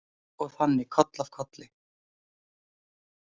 Og þannig koll af kolli.